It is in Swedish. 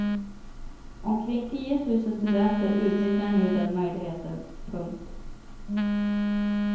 Omkring tio tusen studenter utnyttjar nu den möjligheten. punkt